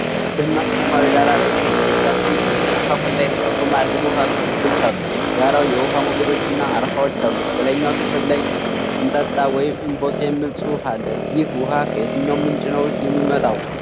ደማቅ ሰማያዊ ዳራ ላይ ሶስት የፕላስቲክ የ **Kool** የተፈጥሮ የማዕድን ውሃ ጠርሙሶች አሉ። ዳራው የውሃ ሞገዶች እና አረፋዎች አሉት። በላይኛው ክፍል ላይ **እንጠጣ ወይ እንቦቅ** የሚል ጽሑፍ አለ። ይህ ውሃ ከየትኛው ምንጭ ነው የሚመጣው?